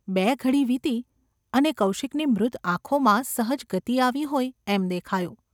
બે ઘડી વીતી અને કૌશિકની મૃત આંખોમાં સહજ ગતિ આવી હોય એમ દેખાયું.